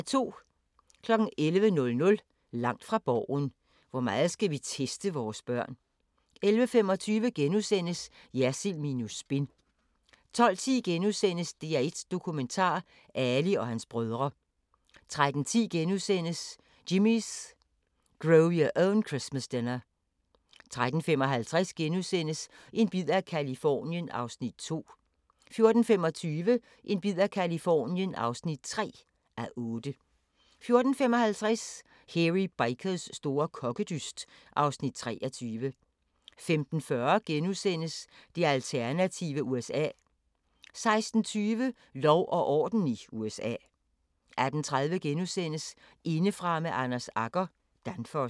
11:00: Langt fra Borgen: Hvor meget skal vi teste vores børn? 11:25: Jersild minus spin * 12:10: DR1 Dokumentar: Ali og hans brødre * 13:10: Jimmy's Grow Your Own Christmas Dinner * 13:55: En bid af Californien (2:8)* 14:25: En bid af Californien (3:8) 14:55: Hairy Bikers store kokkedyst (Afs. 23) 15:40: Det alternative USA * 16:20: Lov og orden i USA 18:30: Indefra med Anders Agger – Danfoss *